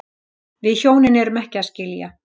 Við hjónin erum ekki að skilja